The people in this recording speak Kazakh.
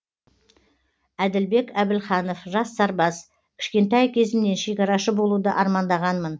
әділбек әбілханов жас сарбаз кішкентай кезімнен шекарашы болуды армандағанмын